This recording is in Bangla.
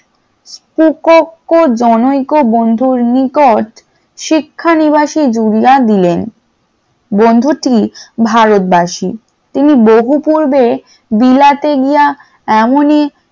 খুব জনকৈ বন্ধুর নিকট শিক্ষা নিবাসী জুরিয়া দিলেন, বন্ধুটি ভারতবাসী তিনি বহু পূর্বে বিলাতে গিয়া এমনই